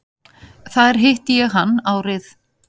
Þar hitti ég hann árið